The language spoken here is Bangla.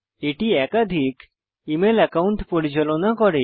এটি একাধিক ইমেইল একাউন্ট পরিচালনা করে